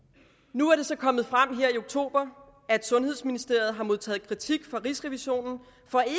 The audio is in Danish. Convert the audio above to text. nu er det så kommet frem her i oktober at sundhedsministeriet har modtaget kritik fra rigsrevisionen